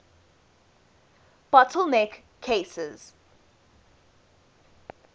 bottle neck cases